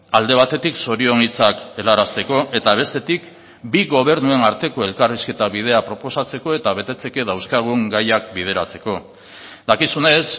alde batetik zorion hitzak helarazteko eta bestetik bi gobernuen arteko elkarrizketa bidea proposatzeko eta betetzeke dauzkagun gaiak bideratzeko dakizunez